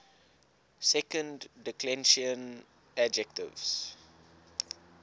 second declension adjectives